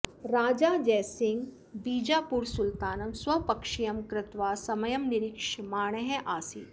राजा जयसिंहः बिजापूर सुल्तानं स्वपक्षीयं कृत्वा समयं निरीक्षमाणः आसीत्